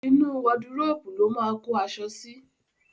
Inú wọdúròpè ló máa kó aṣọ sí.